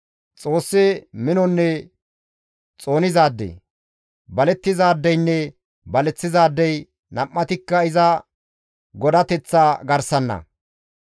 Xoossi minonne xoonizaade; balettizaadeynne baleththizaadey, nam7atikka iza godateththa garsanna.